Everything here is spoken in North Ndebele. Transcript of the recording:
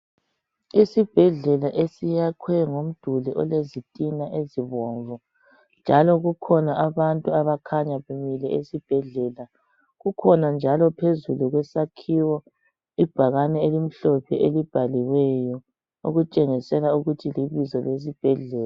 Isibhedlela esiyakhwe ngomduli olezitina ezibomvu ,njalo kukhona abantu abakhanya bemile esibhedlela. Kukhona njalo phezulu kwesakhiwo ibhakane elimhlophe elibhaliweyo okutshengisela ukuthi libizo lesibhedlela.